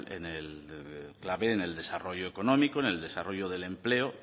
clave en el desarrollo económico en el desarrollo del empleo